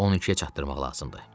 On ikiə çatdırmaq lazımdır.